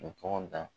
Tɔgɔ da